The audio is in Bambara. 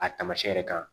A taamasiyɛn yɛrɛ kan